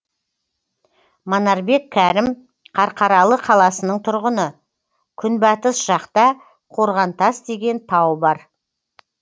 манарбек кәрім қарқаралы қаласының тұрғыны күнбатыс жақта қорғантас деген тау бар